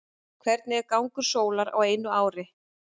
hvernig er gangur sólar á einu ári